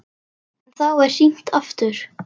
En þá er hringt aftur.